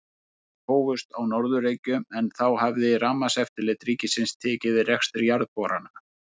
Boranir hófust á Norður-Reykjum, en þá hafði Rafmagnseftirlit ríkisins tekið við rekstri jarðborana.